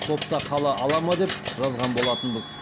топта қала ала ма деп жазған болатынбыз